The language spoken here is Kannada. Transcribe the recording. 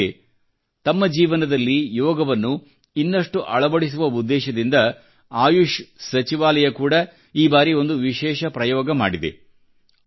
ಅಂದ ಹಾಗೆ ತಮ್ಮ ಜೀವನದಲ್ಲಿ ಯೋಗವನ್ನು ಇನ್ನಷ್ಟು ಅಳವಡಿಸುವ ಉದ್ದೇಶದಿಂದ ಆಯುಷ್ ಸಚಿವಾಲಯ ಕೂಡ ಈ ಬಾರಿ ಒಂದು ವಿಶೇಷ ಪ್ರಯೋಗ ಮಾಡಿದೆ